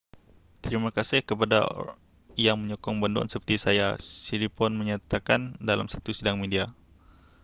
terima kasih kepada yang menyokong banduan seperti saya siriporn menyatakan dalam satu sidang media